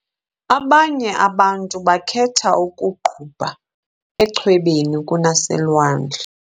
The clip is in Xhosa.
Abanye abantu bakhetha ukuuqubha echwebeni kunaselwandle.